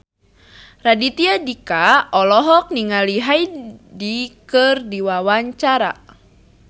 Raditya Dika olohok ningali Hyde keur diwawancara